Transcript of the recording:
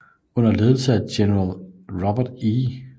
Under ledelse af general Robert E